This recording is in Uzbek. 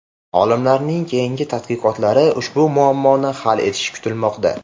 Olimlarning keyingi tadqiqotlari ushbu muammoni hal etishi kutilmoqda.